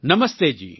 નમસ્તે જી